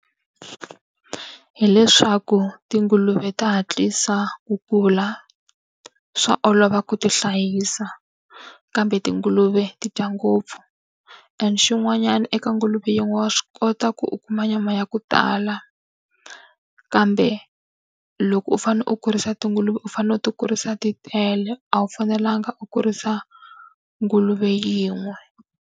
hileswaku tinguluve ta hatlisa ku kula, swa olova ku ti hlayisa, kambe tinguluve ti dya ngopfu. And xin'wanyana eka nguluve yin'we wa swi kota ku u kuma nyama ya ku tala, kambe loko u fanele u kurisa tinguluve u fanele u ti kurisa ti tele, a wu fanelanga u kurisa nguluve yin'we.